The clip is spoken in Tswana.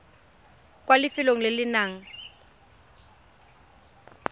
kwa lefelong le le nang